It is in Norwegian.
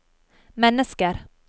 mennesker